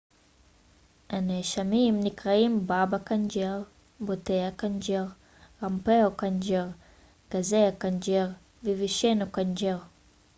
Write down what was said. הנאשמים נקראים באבא קנג'אר בוטהא קנג'ר רמפרו קנג'ר גזה קנג'ר ו-וישנו קנג'ר